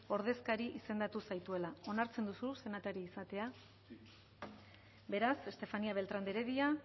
ordezkari izan zaituela onartzen duzu senatari izatea beraz estefanía beltrán de heredia